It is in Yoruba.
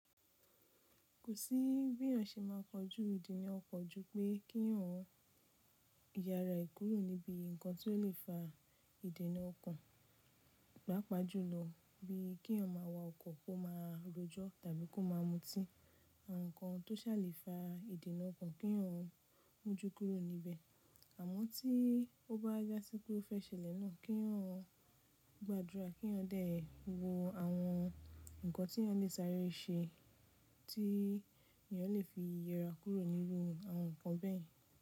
Kò sí bí èèyàn ṣe ma kọjú ìdènà ọkọ̀ ju pé kí wọ́n yára e kúrò níbi nǹkan tó lè fa ìdènà ọko, pápá jùlọ bí kí èèyàn ma wọ ọkọ̀ kó máa rọjọ tàbí kó máa mutí. Àwọn nǹkan tó sáàle fa ìdènà ọko kí èèyàn mójú kúrò níbẹ̀. Àmọ́ tí ó bá já sí pé ó fẹ́ ṣẹlẹ̀ náà kí èèyàn gbàdúrà kí èèyàn dẹ̀ wo àwọn nǹkan tí èèyàn lè sáré ṣe tí èèyàn lè fi yera kúrò nínú àwọn nǹkan bẹ́ẹ̀.